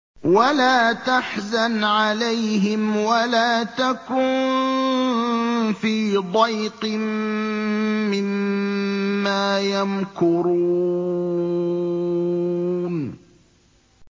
وَلَا تَحْزَنْ عَلَيْهِمْ وَلَا تَكُن فِي ضَيْقٍ مِّمَّا يَمْكُرُونَ